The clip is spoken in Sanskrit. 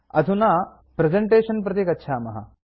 अधुना प्रेजेन्टेशन् प्रति गच्छामः